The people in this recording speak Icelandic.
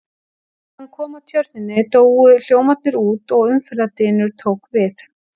Þegar hann kom að tjörninni, dóu hljómarnir út og umferðardynur tók við.